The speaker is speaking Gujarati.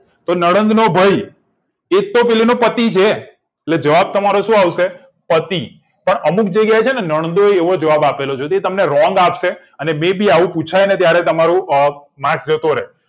નડદનો ભઈ એકતો પેલી નો પતિ છે એટલે જવાબ તમારો શું આવશે પતિ અને અમુક જગ્યાએ છેન નડદોઈ એવો જવાબ આપેલો છે જે તમને wrong આપશે મેં બી આવું પુછાય ને ત્યારે તમારું marks જતો રે